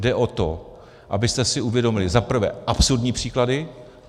Jde o to, abyste si uvědomili - za prvé - absurdní příklady.